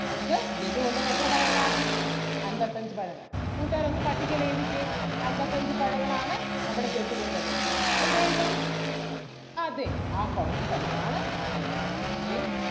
നമുക്ക് ജഗ്ഗു കൊണ്ടുവന്നത് എത്ര പഴങ്ങൾ ആണ് അൻപത്തഞ്ചു പഴങ്ങൾ. കൂട്ടുകാർ ഒന്ന് പട്ടികയിൽ എഴുതിക്കേ അൻപത്തഞ്ചു പഴങ്ങൾ ആണ് നമ്മുടെ ജഗ്ഗു കൊണ്ട് വന്നത്. എവിടെ എഴുതും അതെ ആ column ത്തിൽ തന്നെ ആണ് എഴുതേണ്ടത്. ദേ